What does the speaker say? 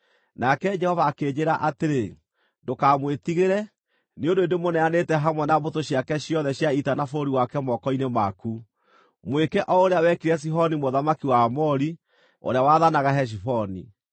Nake Jehova akĩnjĩĩra atĩrĩ, “Ndũkamwĩtigĩre, nĩ ũndũ nĩndĩmũneanĩte hamwe na mbũtũ ciake ciothe cia ita na bũrũri wake moko-inĩ maku. Mwĩke o ũrĩa wekire Sihoni mũthamaki wa Aamori, ũrĩa waathanaga Heshiboni.”